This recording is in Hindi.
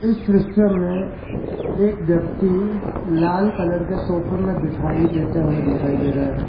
इस दृश्य में एक व्यक्ति लाल कलर के सोफे में बिठाई देते हुए दिखाई दे रहा है।